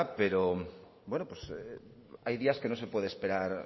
pero hay días que no se puede esperar